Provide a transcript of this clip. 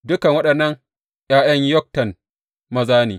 Dukan waɗannan ’ya’yan Yoktan maza ne.